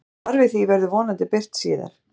Svar við því verður vonandi birt síðar.